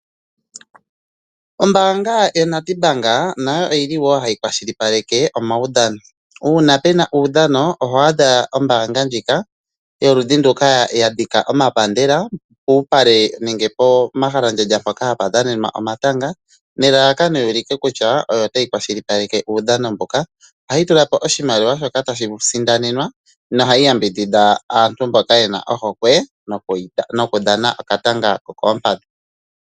Ombaanga yo Nedbank nayo oyili woo hayi kwashilipaleke omaudhano. Uuna pena uudhano oho adha ombaanga yoludhi nduka ya dhika omapandela puupale nenge pomahala mpoka hapu dhanenwa omatanga nelalakano yu ulike kutya oyo tayi kwashilipaleke uudhamo mbuka . Ohayi tulapo oshimaliwa shoka tashi sindanwa no hayi yambidhidha aantu mboka yena ohokwe nokudhana okatanga kokoompadhi.